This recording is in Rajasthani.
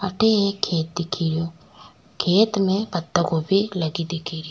अठे एक खेत दिखे रियो खेत में पत्ता गोभी लगी दिखे री।